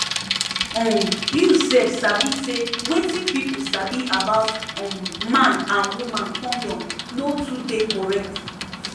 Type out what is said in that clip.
um you sef sabi say wetin pipu sabi about um man and woman condom no too dey correct